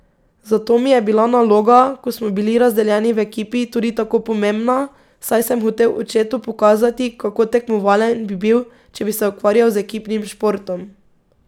Zato mi je bila naloga, ko smo bili razdeljeni v ekipi, tudi tako pomembna, saj sem hotel očetu pokazati, kako tekmovalen bi bil, če bi se ukvarjal z ekipnim športom.